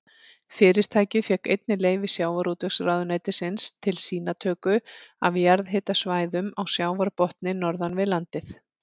Fyrirtækið fékk einnig leyfi sjávarútvegsráðuneytisins til sýnatöku af jarðhitasvæðum á sjávarbotni norðan við landið.